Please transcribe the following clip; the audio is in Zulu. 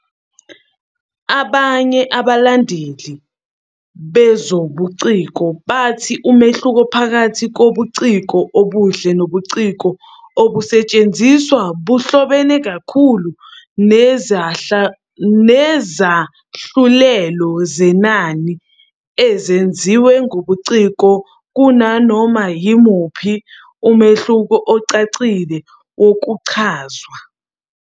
Abanye abalandeli bezobuciko bathi umehluko phakathi kobuciko obuhle nobuciko obusetshenzisiwe buhlobene kakhulu nezahlulelo zenani ezenziwe ngobuciko kunanoma yimuphi umehluko ocacile wokuchazwa.